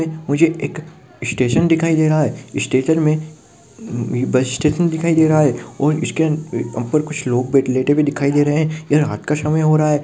मुझे एक स्टेशन दिखाई दे रहा है स्टेशन मे बस स्टेशन दिखाई दे रहा है और इसके ऊपर कुछ लोग बैठे लेटे हुए दिखाइ दे रहे है ये रात का समय हो रहा है।